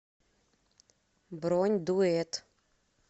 бронь дуэт